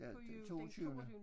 Ja toogtyvende